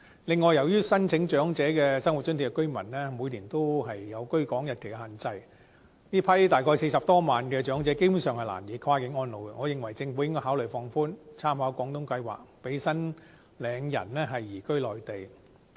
另外，由於申請長者生活津貼的居民每年也有居港日期的限制，這批大約40多萬名的長者基本上難以跨境安老，我認為應該考慮放寬，參考廣東計劃，讓申領人移居內地。